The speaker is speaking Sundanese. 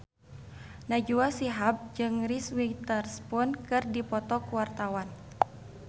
Najwa Shihab jeung Reese Witherspoon keur dipoto ku wartawan